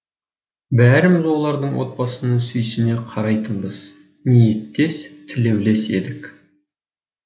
бәріміз олардың отбасына сүйсіне қарайтынбыз ниеттес тілеулес едік